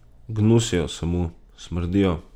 Gnusijo se mu, smrdijo.